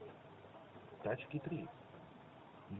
тачки три